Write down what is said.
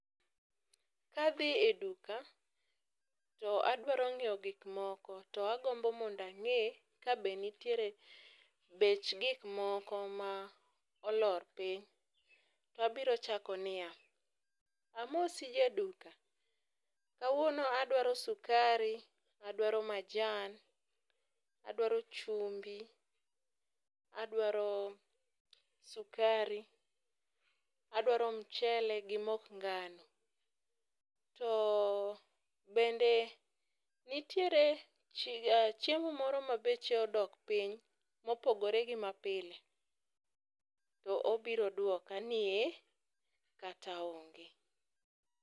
Kadhi e duka to adwaro nyiew gik moko to agombo mondo ange kabe nitiere bech gik moko ma olor piny to abiro chako niya, amosi jaduka, kawuono adwaro sukari, adwaro majan, adwaro chumbi, adwaro sukari, adwaro mchele gi mok ngano, to bende nitiere chiemo moro ma beche odok piny mopogore gi ma pile to obiro duoka ni ee kata onge